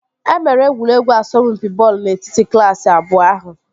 E mere egwuregwu asọmpi bọọlụ n'etiti klaasị abụọ ahụ